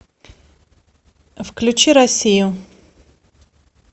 включи россию